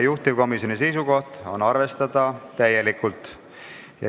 Juhtivkomisjoni seisukoht on arvestada seda täielikult.